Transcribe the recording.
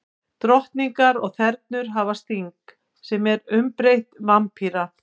Drottningar og þernur hafa sting, sem er umbreytt varppípa.